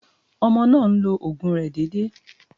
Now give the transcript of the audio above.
Ọmọ náà ń lo òògùn rẹ̀ déédé.